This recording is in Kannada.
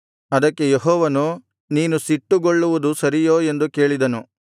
ಅದಕ್ಕೆ ಯೆಹೋವನು ನೀನು ಸಿಟ್ಟುಗೊಳ್ಳುವುದು ಸರಿಯೋ ಎಂದು ಕೇಳಿದನು